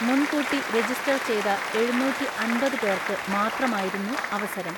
മുൻകൂട്ടി രജിസ്റ്റർ ചെയ്ത എഴുന്നൂറ്റിഅൻപത് പേർക്ക് മാത്രമായിരുന്നു അവസരം.